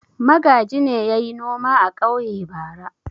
Magaji ne ya yi noma a ƙauye bara.